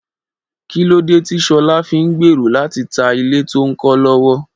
Kí lóde tí Ṣọlá fi ń gbèrò láti ta ilé tó ń kọ́ lọ́wọ́?